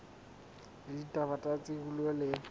la ditaba tsa tikoloho le